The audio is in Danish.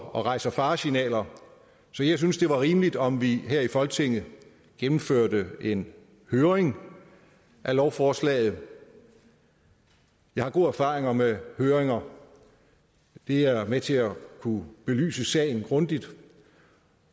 og rejser faresignaler så jeg synes at det var rimeligt om vi her i folketinget gennemførte en høring af lovforslaget jeg har gode erfaringer med høringer de er med til at kunne belyse sagen grundigt